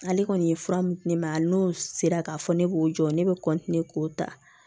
Ale kɔni ye fura mun di ne ma a n'o sera k'a fɔ ne k'o jɔ ne bɛ k'o ta